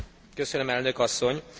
Köszönöm, Elnök asszony!